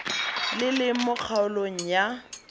le leng mo kgaolong ya